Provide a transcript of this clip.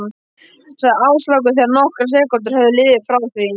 sagði Áslákur þegar nokkrar sekúndur höfðu liðið frá því